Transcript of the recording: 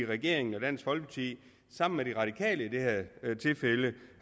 regeringen og dansk folkeparti sammen med de radikale i det her tilfælde